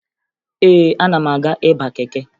Ee, ana m aga ịba keke